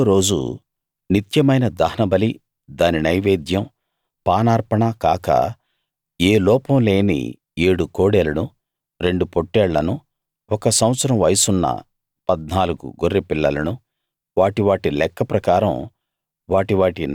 ఏడో రోజు నిత్యమైన దహనబలి దాని నైవేద్యం పానార్పణ కాక ఏ లోపం లేని ఏడు కోడెలను రెండు పొట్టేళ్లను ఒక సంవత్సరం వయసున్న 14 గొర్రె పిల్లలను వాటి వాటి లెక్క ప్రకారం